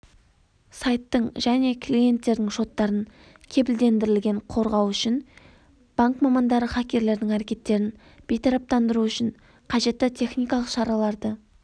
сайттың және клиенттердің шоттарын кепілдендірілген қорғау үшін банк мамандары хакерлердің әрекеттерін бейтараптандыру үшін қажетті техникалық шараларды